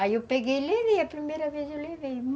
Aí eu peguei e levei, a primeira vez eu levei.